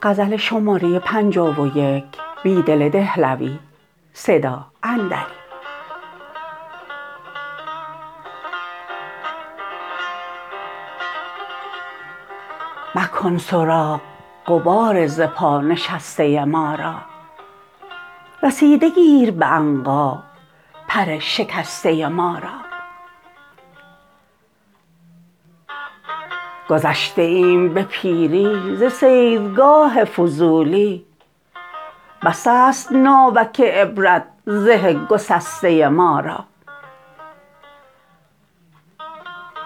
مکن سراغ غبار ز پا نشسته ما را رسیده گیر به عنقا پر شکسته ما را گذشته ایم به پیری ز صیدگاه فضولی بس است ناوک عبرت زه گسسته ما را